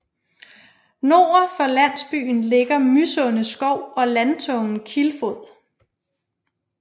Nord for landsbyen ligger Mysunde Skov og landtungen Kilfod